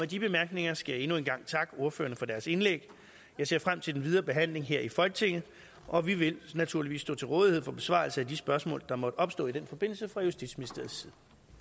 de bemærkninger skal jeg endnu en gang takke ordførerne for deres indlæg jeg ser frem til den videre behandling her i folketinget og vi vil naturligvis stå til rådighed for besvarelse af de spørgsmål der måtte opstå i den forbindelse fra justitsministeriets